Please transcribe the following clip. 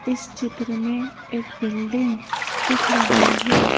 इस चित्र में एक बिल्डिंग दिख रही है।